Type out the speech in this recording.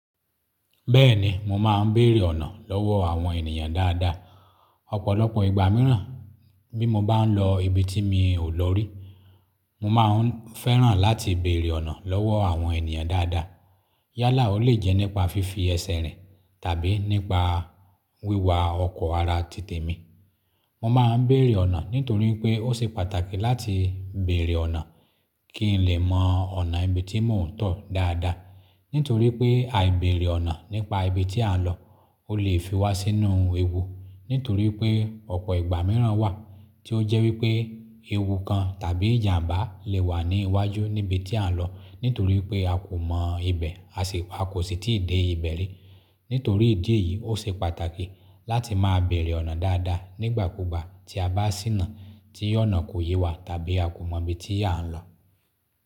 Bẹ́ẹ̀ni, mo máa ń bèèrè ọ̀nà lọ́wọ́ àwọn ènìyàn dáadáa. Ọ̀pọ̀lọpọ̀ ìgbà mìíràn bí mo bá ń lọ ibi tí mi ò lọ rí, mo máa ń fẹ́ràn láti bèèrè ọ̀nà lọ́wọ́ àwọn ènìyàn dáadáa. Yálà ó lè jẹ́ nípa fífi ẹsẹ̀ rìn tàbí nípa wíwa ọkọ̀ ara títemi. Mo máa ń bèèrè ọ̀nà nítorí pé ó ṣe pàtàkì láti bèèrè ọ̀nà kí n lè mọ ọ̀nà ibi tí mò ń tọ̀ dáadáa. Nítorí pé aìbèrè ọ̀nà nípa ibi tí a ń lọ ó lè fi wá sínú ewu. Nítorí pé ọ̀pọ̀ ìgbà mìíràn wà tí ó jẹ́ wípé ewu kan tàbí ìjàmbá lè wà ní iwájú níbi tí à ń lọ, nítorí pé a kò mọ ibẹ̀, a kò sì tíì dé ibẹ̀ rí. Nítorí ìdí èyí, ó ṣe pàtàkì láti máa bèèrè ọ̀nà dáadáa nígbàkúgbà tí a bá síná tí ọ̀nà kò yé wa tàbí a kò mọ ibi tí a ń lọ.